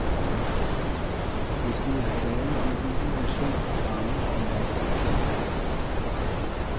Det skulle have været en uge med sol, varme og masser af fodbold.